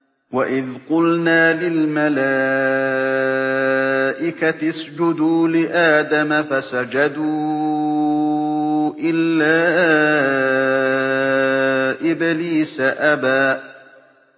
وَإِذْ قُلْنَا لِلْمَلَائِكَةِ اسْجُدُوا لِآدَمَ فَسَجَدُوا إِلَّا إِبْلِيسَ أَبَىٰ